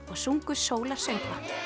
og sungu